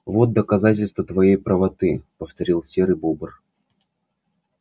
вот доказательство твоей правоты повторил серый бобр